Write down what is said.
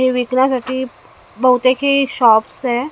हे विकण्यासाठी बहुतेक हे शॉप्स आहे.